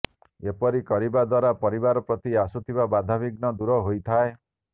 ଏପରି କରିବା ଦ୍ୱାରା ପରିବାର ପ୍ରତି ଆସୁଥିବା ବାଧାବିଘ୍ନ ଦୂର ହୋଇଥାଏ